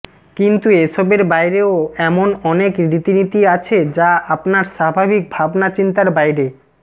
কিন্তু এসবের বাইরেও এমন অনেক রীতিনীতি আছে যা আপনার স্বাভাবিক ভাবনা চিন্তার বাইরে